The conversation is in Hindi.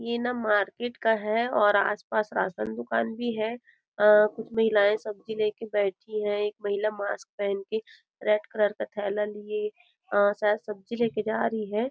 यह ना मार्किट का है और आसपास राशन दुकान भी है अ कुछ महिलाएं सब्जी लेके बैठी है एक महिला मास्क पहन के रेड कलर का थैला लिए अ शायद सब्जी लेके जा रही है।